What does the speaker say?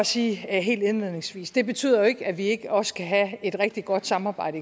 sige helt indledningsvis det betyder jo ikke at vi ikke også kan have et rigtig godt samarbejde